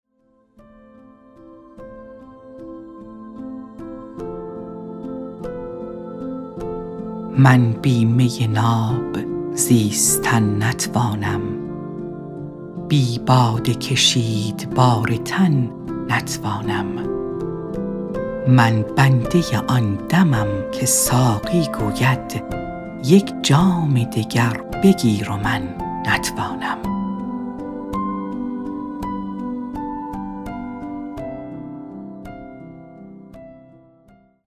من بی می ناب زیستن نتوانم بی باده کشید بار تن نتوانم من بنده آن دمم که ساقی گوید یک جام دگر بگیر و من نتوانم